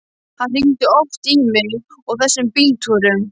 Hann hringdi oft í mig á þessum bíltúrum.